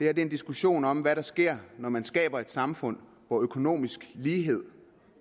er en diskussion om hvad der sker når man skaber et samfund hvor økonomisk lighed